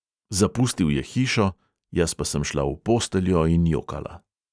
"Zapustil je hišo, jaz pa sem šla v posteljo in jokala."